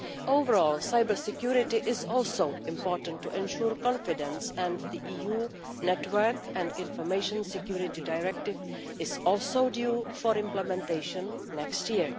Overall, cyber security is also important to ensure confidence, and the EU Network and Information Security Directive is also due for implementation next year.